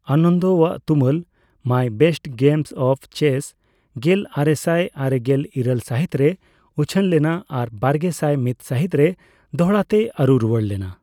ᱟᱱᱚᱱᱫᱚᱣᱟᱜ ᱛᱩᱢᱟᱹᱞ 'my best games of chess' ᱜᱮᱞᱟᱨᱮᱥᱟᱭ ᱟᱨᱮᱜᱮᱞ ᱤᱨᱟᱹᱞ ᱥᱟᱦᱤᱛ ᱨᱮ ᱩᱪᱷᱟᱹᱱ ᱞᱮᱱᱟ ᱟᱨ ᱵᱟᱨᱜᱮᱥᱟᱭ ᱢᱤᱛ ᱥᱟᱦᱤᱛ ᱨᱮ ᱫᱚᱦᱲᱟᱛᱮ ᱟᱨᱩ ᱨᱩᱣᱟᱹᱲ ᱞᱮᱱᱟ ᱾